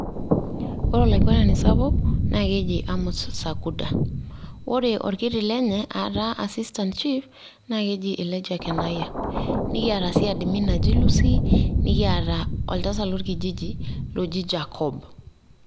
Ore olaigwenani sapuk, naa keji Amos Sakuda, ore olkiti lenye aa taa assistant chief naa keji Elijah Kenaya, nekiata sii admin naji Lucy, nekiata oltasat lolkijiji oji Jacob.